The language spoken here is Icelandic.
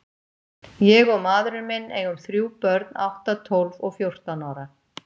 Ég og maðurinn minn eigum þrjú börn, átta, tólf og fjórtán ára.